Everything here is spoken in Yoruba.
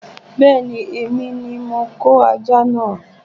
Bẹ́ẹ̀ni, èmi ní mo kó ajá náà